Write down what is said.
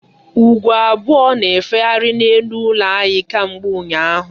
Ugo abụọ na-efegharị n'elu ụlọ anyị kemgbe ụnyaahụ.